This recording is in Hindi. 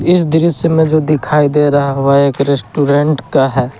इस दृश्य मे जो दिखाई दे रहा है वह एक रेस्टोरेंट का है।